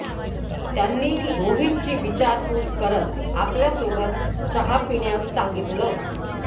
त्यांनी रोहितची विचारपूस करत आपल्यासोबत चहा पिण्यास सांगितलं